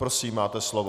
Prosím, máte slovo.